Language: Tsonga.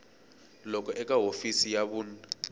loku eka hofisi ya vun